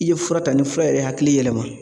I ye fura ta ni fura yɛrɛ hakili yɛlɛma